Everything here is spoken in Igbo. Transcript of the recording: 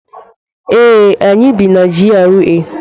Ee, anyị bi na GRA.